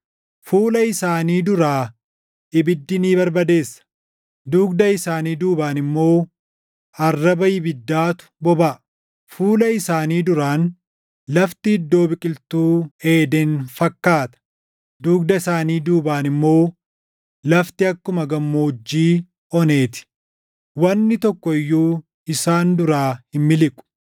Fuula isaanii duraa ibiddi ni barbadeessa; dugda isaanii duubaan immoo arraba ibiddaatu bobaʼa. Fuula isaanii duraan lafti iddoo biqiltuu Eeden fakkaata; dugda isaanii duubaan immoo lafti akkuma gammoojjii onee ti; wanni tokko iyyuu isaan duraa hin miliqu.